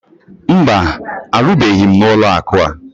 Mba, arụbughi m n'ụlọakụ a